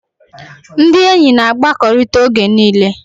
Ndị enyi na-akpakọrịta oge niile